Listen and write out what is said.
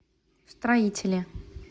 строителе